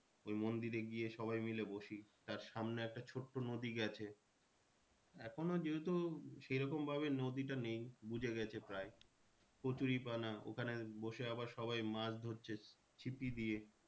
ওই মন্দিরে গিয়ে সবাই মিলে বসি তার সামনে একটা ছোট্ট নদী গেছে এখনো যেহেতু সেরকম ভাবে নদীটা বুঝে গেছে প্রায় কচুরি পান ওখানে বসে আবার সবাই মাছ ধরছে ছিপি দিয়ে।